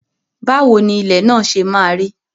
Báwo ni ilẹ̀ náà ṣe maa rí?